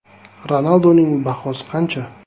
- Ronaldoning bahosi qancha?